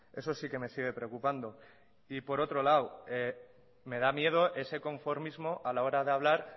eso sí que me sigue preocupando y por otro lado me da miedo ese conformismo a la hora de hablar